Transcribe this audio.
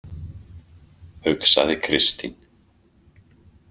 , hugsaði Kristín.